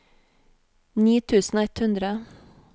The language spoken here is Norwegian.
ni tusen og ett hundre